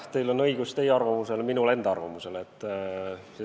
Teil on õigus teie arvamusele, minul enda arvamusele.